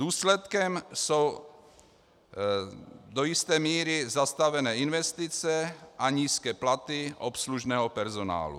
Důsledkem jsou do jisté míry zastavené investice a nízké platy obslužného personálu.